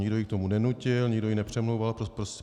Nikdo ji k tomu nenutil, nikdo ji nepřemlouval.